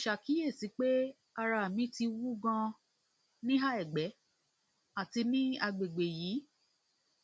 mo ṣàkíyèsí pé ara mi ti wú ganan níhà ẹgbẹ àti ní àgbègbè yìí